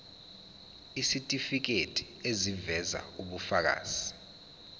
isitifiketi eziveza ubufakazi